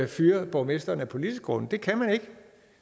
fyre borgmesteren af politiske grunde det kan man ikke